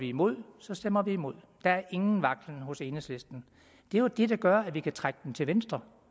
imod så stemmer vi imod der er ingen vaklen hos enhedslisten det er jo det der gør at vi kan trække dem til venstre